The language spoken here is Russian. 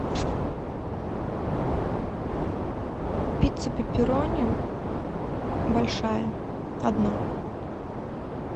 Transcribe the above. пицца пепперони большая одна